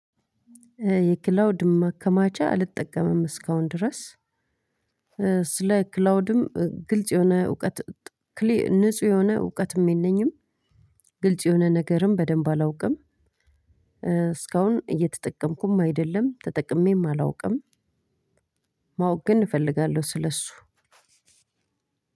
የክላውድ ማከማቻ አልጠቀምም እስካሁን ድረስ ስለ ክላውድም ግልጽ የሆነ እውቀት ንጹህ የሆነ እውቀትም የለኝም ግልጽ የሆነ ነገርም በደንብ አላውቅም። እስካሁን እየተጠቀምኩም አይደለም ተጠቅሜም አላውቅም። ማወቅ ግን እፈልጋለሁ ስለሱ።